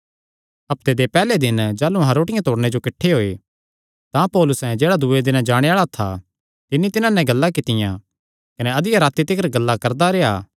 हफ्ते दे पैहल्ले दिन जाह़लू अहां रोटिया तोड़णे जो किठ्ठे होये तां पौलुसे जेह्ड़ा दूँये दिने जाणे आल़ा था तिन्नी तिन्हां नैं गल्लां कित्तियां कने अधिया राती तिकर गल्लां करदा रेह्आ